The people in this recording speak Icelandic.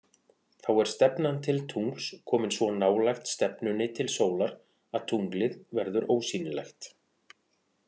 Þá er stefnan til tungls komin svo nálægt stefnunni til sólar að tunglið verður ósýnilegt.